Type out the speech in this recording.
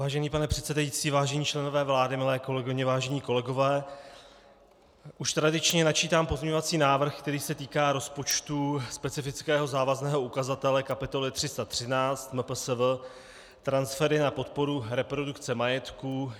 Vážený pane předsedající, vážení členové vlády, milé kolegyně, vážení kolegové, už tradičně načítám pozměňovací návrh, který se týká rozpočtu specifického závazného ukazatele kapitoly 313 MPSV transfery na podporu reprodukce majetku.